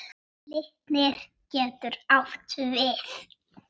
Glitnir getur átt við